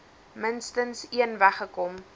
minstens een weggekom